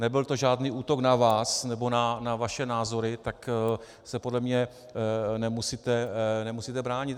Nebyl to žádný útok na vás nebo na vaše názory, tak se podle mě nemusíte bránit.